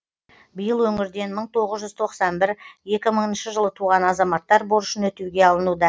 биыл өңірден мың тоғыз жүз тоқсан бір екі мыңыншы жылы туған азаматтар борышын өтеуге алынуда